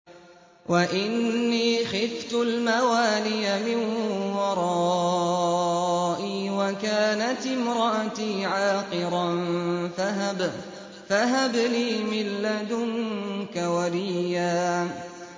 وَإِنِّي خِفْتُ الْمَوَالِيَ مِن وَرَائِي وَكَانَتِ امْرَأَتِي عَاقِرًا فَهَبْ لِي مِن لَّدُنكَ وَلِيًّا